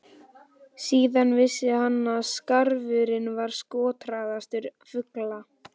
Síðan vissi hann að skarfurinn var skotharðastur fugla.